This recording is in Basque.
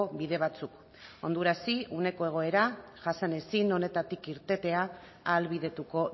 bide batzuk hondurasi uneko egoera jasan ezin honetatik irtetea ahalbidetuko